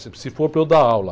Se, se for para eu dar aula.